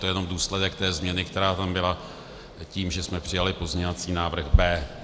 To je jenom důsledek té změny, která tam byla tím, že jsme přijali pozměňovací návrh B.